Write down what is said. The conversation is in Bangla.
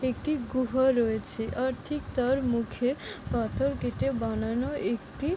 একটি গুহা রয়েছে আর ঠিক তার মুখে পাথর কেটে বানানো একটি ।